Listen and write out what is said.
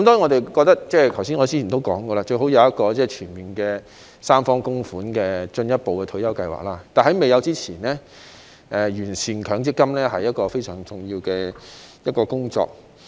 當然，正如我剛才所說，我們認為最好是設有一個全面由三方供款的進一步退休計劃，但在未有設立以前，完善強積金是一項非常重要的工作。